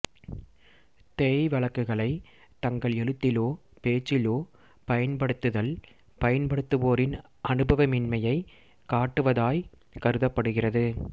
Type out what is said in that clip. தேய்வழக்குகளைத் தங்கள் எழுத்திலோ பேச்சிலோ பயன்படுத்துதல் பயன்படுத்துவோரின் அனுபவமின்மையைக் காட்டுவதாய்க் கருதப்படுகிறது